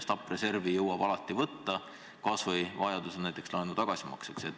Stabiliseerimisreservi jõuab alati võtta, kas või vajaduse korral näiteks laenu tagasimaksmiseks.